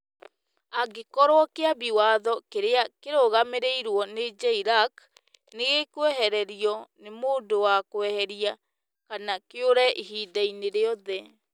Angĩkorũo Kĩambi Watho kĩrĩa kĩrũgamĩrĩirwo nĩ JLAC nĩ gĩkwehererio nĩ mũndũ wa kweheria kana kĩũrĩ ihinda-inĩ rĩothe,